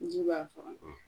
Ji b'a faga